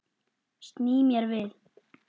Sný mér við.